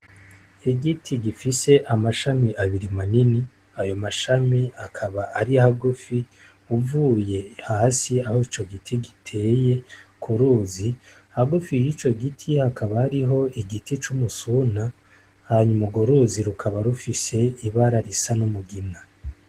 Igiti gifise amashami abiri manini ayo mashami akaba ari hagufi uvuye hasi aho ico giti giteye ku ruzi hagufi yi co giti hakaba aariho igiti c'umusuna hanyuma ugo ruzi rukaba rufise ibara risa no mugina.